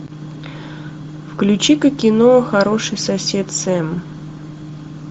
включи ка кино хороший сосед сэм